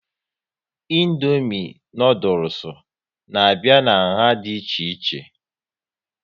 Indomie noodules n'abia n'nha dị ichè ichè